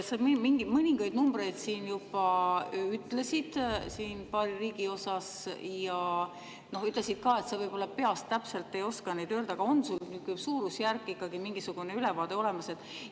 Sa mõningaid numbreid juba ütlesid paari riigi kohta ja ütlesid ka, et sa võib-olla peast täpselt ei oska neid öelda, aga on sul suurusjärk ja ikkagi mingisugune ülevaade olemas?